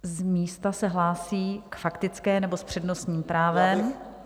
Z místa se hlásí k faktické, nebo s přednostním právem...?